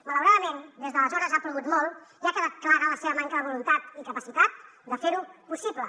malauradament des d’aleshores ha plogut molt i ha quedat clara la seva manca de voluntat i capacitat de fer ho possible